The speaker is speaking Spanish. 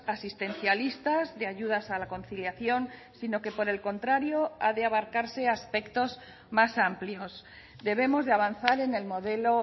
asistencialistas de ayudas a la conciliación sino que por el contrario ha de abarcarse aspectos más amplios debemos de avanzar en el modelo